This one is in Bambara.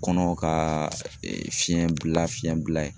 Kɔnɔ ka fiɲɛ bila fiɲɛ bila ye.